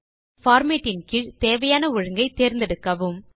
மற்றும் பார்மேட் இன் கீழ் தேவையான ஒழுங்கை தேர்ந்தெடுக்கவும்